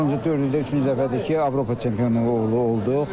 Axırıncı dörd ildə üçüncü dəfədir ki, Avropa çempionluğu olduq.